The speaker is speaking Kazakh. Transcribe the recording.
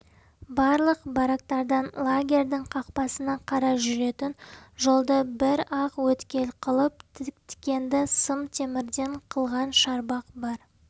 барлық барактардан лагерьдің қақпасына қарай жүретін жолды бір-ақ өткел қылып тікенді сымтемірден қылған шарбақ бар